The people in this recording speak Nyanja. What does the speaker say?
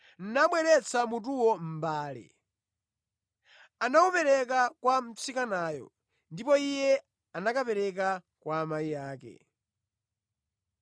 nabweretsa mutuwo mʼmbale. Anawupereka kwa mtsikanayo, ndipo iye anakapereka kwa amayi ake.